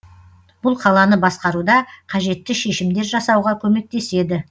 бұл қаланы басқаруда қажетті шешімдер жасауға көмектеседі